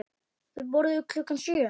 Þau borðuðu klukkan sjö.